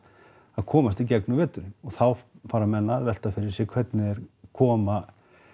að komast í gegnum veturinn og þá fara menn að velta fyrir sér hvernig þeir koma